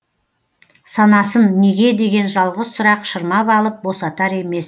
санасын неге деген жалғыз сұрақ шырмап алып босатар емес